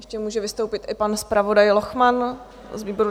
Ještě může vystoupit i pan zpravodaj Lochman z výboru.